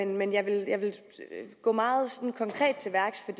men jeg vil gå meget konkret til værks for